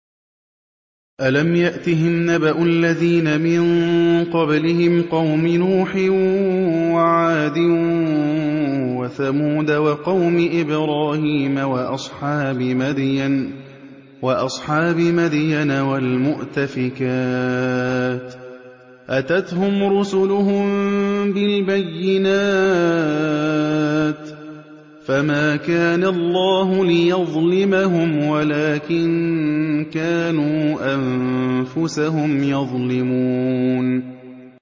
أَلَمْ يَأْتِهِمْ نَبَأُ الَّذِينَ مِن قَبْلِهِمْ قَوْمِ نُوحٍ وَعَادٍ وَثَمُودَ وَقَوْمِ إِبْرَاهِيمَ وَأَصْحَابِ مَدْيَنَ وَالْمُؤْتَفِكَاتِ ۚ أَتَتْهُمْ رُسُلُهُم بِالْبَيِّنَاتِ ۖ فَمَا كَانَ اللَّهُ لِيَظْلِمَهُمْ وَلَٰكِن كَانُوا أَنفُسَهُمْ يَظْلِمُونَ